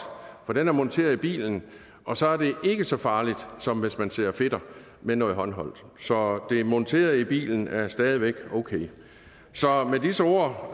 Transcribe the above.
for den er monteret i bilen og så er det ikke så farligt som hvis man sidder og fedter med noget håndholdt så det der er monteret i bilen er stadig væk okay så med disse ord